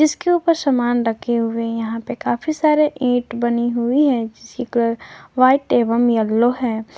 इसके ऊपर सामान रखे हुए है यहां पे काफी सारे ईट बनी हुई है जिसकी कलर व्हाइट एवं येलो है।